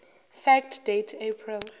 fact date april